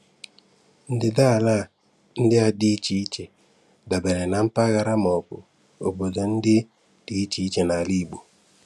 Ndịdaala ndị a dị iche iche dabere na mpaghara maọbụ obodo ndị dị iche iche n'ala Igbo.